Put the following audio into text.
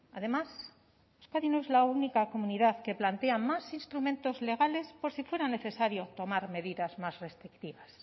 además euskadi no es la única comunidad que plantea más instrumentos legales por si fuera necesario tomar medidas más restrictivas